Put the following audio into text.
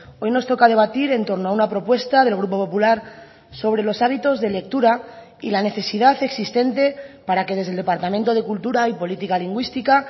hoy nos toca debatir en torno a una propuesta del grupo popular sobre los hábitos de lectura y la necesidad existente para que desde el departamento de cultura y política lingüística